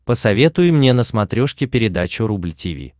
посоветуй мне на смотрешке передачу рубль ти ви